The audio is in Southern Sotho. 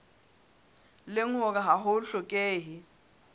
leng hore ha ho hlokehe